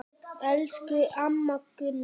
Elsku amma Gunna.